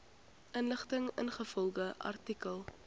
inligting ingevolge artikel